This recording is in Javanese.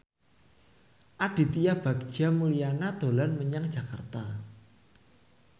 Aditya Bagja Mulyana dolan menyang Jakarta